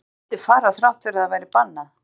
Sem vildi fara þrátt fyrir að það væri bannað?